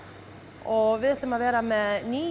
og við ætlum að vera með níu